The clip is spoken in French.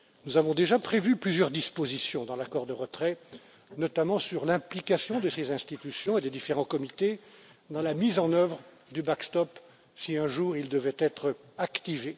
Nous avons déjà prévu plusieurs dispositions dans l'accord de retrait, notamment sur l'implication de ses institutions et des différents comités dans la mise en oeuvre du backstop si un jour il devait être activé.